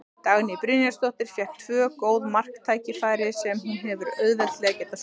Dagný Brynjarsdóttir fékk tvö góð marktækifæri sem hún hefði auðveldlega getað skorað úr.